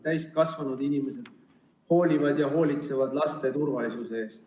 Täiskasvanud inimesed peavad hoolitsema laste turvalisuse eest.